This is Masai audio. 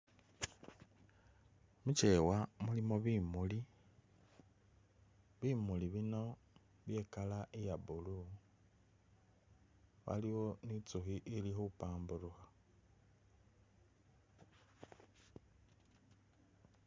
Mukyewa mulimu bimuuli, bimuli bino bye i'colour iya blue, waliwo ni intsukhi ili khupampurukha.